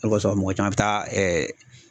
O le kosɔn mɔgɔ caman bɛ taa